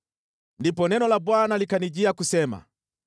Ndipo neno la Bwana likanijia kusema: